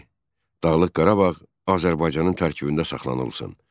Dağlıq Qarabağ Azərbaycanın tərkibində saxlanılsın.